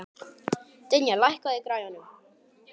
Dynja, lækkaðu í græjunum.